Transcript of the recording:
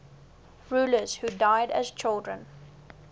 rulers who died as children